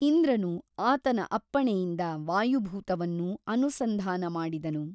ಇಂದ್ರನು ಆತನ ಅಪ್ಪಣೆಯಿಂದ ವಾಯುಭೂತವನ್ನು ಅನುಸಂಧಾನ ಮಾಡಿದನು.